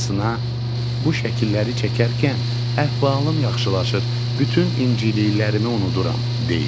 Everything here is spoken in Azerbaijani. Anasına: bu şəkilləri çəkərkən əhvalım yaxşılaşır, bütün inciliklərimi unuduram deyir.